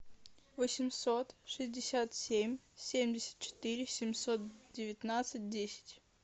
восемьсот шестьдесят семь семьдесят четыре семьсот девятнадцать десять